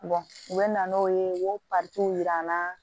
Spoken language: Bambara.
u bɛ na n'o ye u y'o yira an na